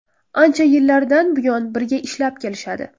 Ancha yillardan buyon birga ishlab kelishadi.